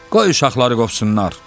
Qoy uşaqları qovsunlar.